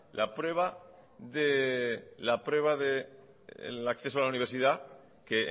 la prueba de acceso a la universidad que